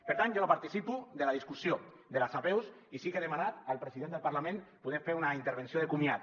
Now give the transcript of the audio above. per tant jo no participo de la discussió de les apeus i sí que he demanat al president del parlament poder fer una intervenció de comiat